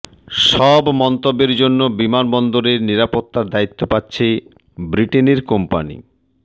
সব মন্তব্যের জন্য বিমানবন্দরের নিরাপত্তার দায়িত্ব পাচ্ছে ব্রিটেনের কোম্পানি